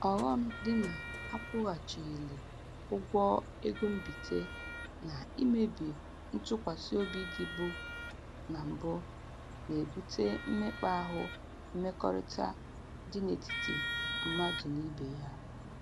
Ọghọm dị na akwụghachilighị ụgwọ ego mbite na imebi ntụkwasịobi dịbu na mbụ na-ebute mmekpa ahụ mmekọrịta dị n'etiti mmadụ n'ibe ya